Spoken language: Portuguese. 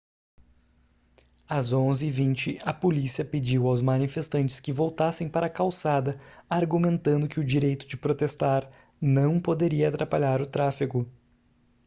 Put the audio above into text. às 11:20 a polícia pediu aos manifestantes que voltassem para a calçada argumentando que o direito de protestar não poderia atrapalhar o tráfego